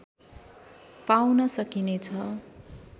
पाउन सकिने छ